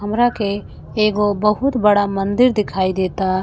हमरा के एगो बहुत बड़ा मंदिर दिखाई देता।